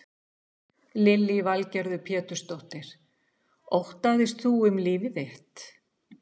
Lillý Valgerður Pétursdóttir: Óttaðist þú um líf þitt?